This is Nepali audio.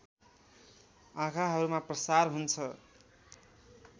आँखाहरूमा प्रसार हुन्छ